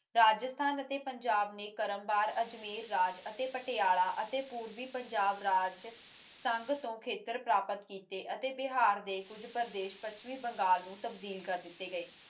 ਰਾਜਸਥਾਨ ਅਤੇ ਪੰਜਾਬ ਨੇ ਕਰਮ ਬਾਰ ਅਤੇ ਅਜਮੇਰ ਰਾਜ ਅਤੇ ਪਟਿਆਲਾ ਅਤੇ ਪੁਰਭੀ ਪੰਜਾਬ ਰਾਜ ਸੰਗ ਤੋਂ ਖੇਤਰ ਪ੍ਰਾਪਤ ਕੀਤੇ ਅਤੇ ਬਿਹਾਰ ਦੇ ਕੁਜ ਪ੍ਰਦੇਸ ਪੁੱਛਮੀ ਬੰਗਾਲ ਨੂੰ ਤਾਬਦਿਲ ਕਰ ਦਿੱਤੇ ਗਏ